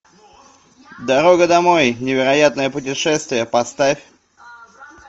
дорога домой невероятное путешествие поставь